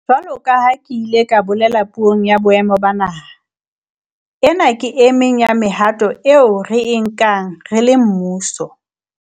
Jwalo ka ha ke ile ka bolela Puong ya Boemo ba Naha, ena ke e meng ya mehato eo re e nkang re le mmuso